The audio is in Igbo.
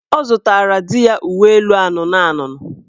Ọ zụtara di ya uweelu anụnụanụnụ